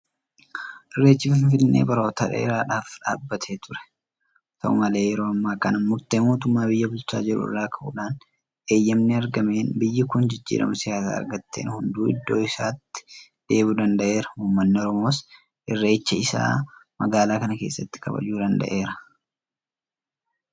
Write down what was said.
Irreechi Finfinnee baroota dheeraadhaaf dhaabbatee ture. Haata'u malee yeroo ammaa kana murtee mootummaa biyya bulchaa jiruu irraa ka'uudhaan eeyyama argameen biyyi kun jijjiirama siyaasaa argatteen hunduu iddoo isaatti deebi'uu danda'eera. Uummanni Oromoos irreecha isaa magaalaa kana keessatti kabajachuu danda'eera.